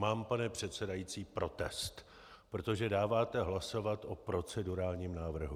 Mám, pane předsedající, protest, protože dáváte hlasovat o procedurálním návrhu.